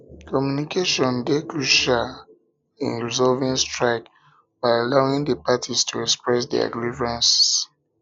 communication dey crucial communication dey crucial in resolving strike by allowing di parties to express their grievances